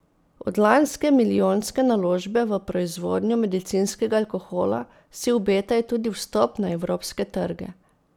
Od lanske milijonske naložbe v proizvodnjo medicinskega alkohola si obetajo tudi vstop na evropske trge.